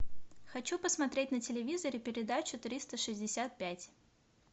хочу посмотреть на телевизоре передачу триста шестьдесят пять